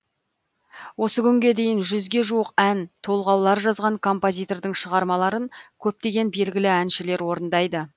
осы күнге дейін жүзге жуық ән толғаулар жазған композитордың шығармаларын көптеген белгілі әншілер орындайды